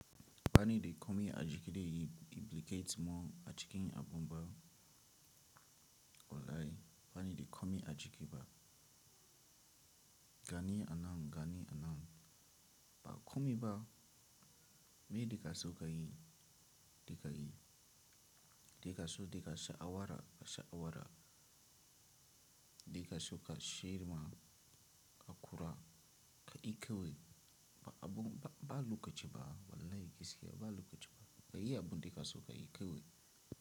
Bani de komi a jikide implicates mo a jikin abun ba wallahi bani de komi a jiki ba gani anan, gani anan, ba komi ba me kake so ka yi dema ka yi. De kaso de ka sha awara ka sha awara. De kaso ka shir ma ka kura ka yi kawai ba abun ba, ba lokaci ba wallahi gaskiya ba lokaci ba. Ka yi abun da kaso ka yi kawai.